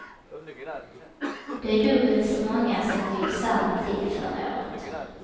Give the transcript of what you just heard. Det är dubbelt så många som vid samma tid förra året.